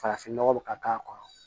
Farafin nɔgɔ bi ka k'a kɔrɔ